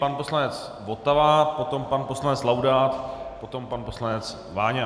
Pan poslanec Votava, potom pan poslanec Laudát, potom pan poslanec Váňa.